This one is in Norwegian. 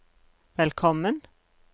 velkommen